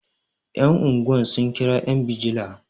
yan' unguwa sun kira yan bijila